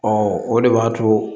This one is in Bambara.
Ɔ o de b'a to